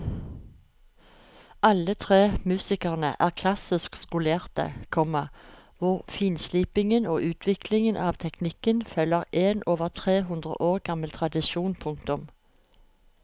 Alle tre musikerne er klassisk skolerte, komma hvor finslipingen og utviklingen av teknikken følger en over tre hundre år gammel tradisjon. punktum